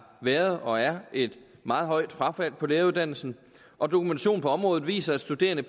været og er et meget højt frafald på læreruddannelsen og dokumentation på området viser at studerende